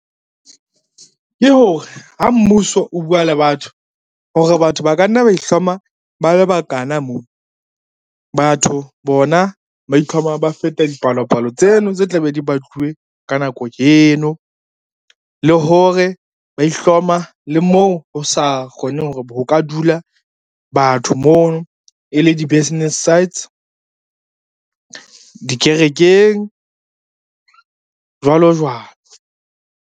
Ke hore ha mmuso o bua le batho hore batho ba ka nna ba ihloma ba le bakana mo, batho bona ba itlhoma ba feta dipalopalo tseno tse tla be di baduwe ka nako eno, le hore ba ihloma le moo ho sa kgoneng ho ka dula batho mono e le di-business sides, dikerekeng jwalo jwalo.